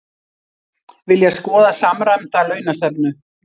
Vilja skoða samræmda launastefnu